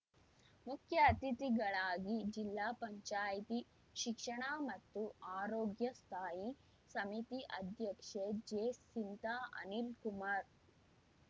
ಮುಖ್ಯ ಅತಿಥಿಗಳಾಗಿ ಜಿಲ್ಲಾ ಪಂಚಾಯಿತಿ ಶಿಕ್ಷಣ ಮತ್ತು ಆರೋಗ್ಯ ಸ್ಥಾಯಿ ಸಮಿತಿ ಅಧ್ಯಕ್ಷೆ ಜೆಸಿಂತಾ ಅನಿಲ್‌ ಕುಮಾರ್‌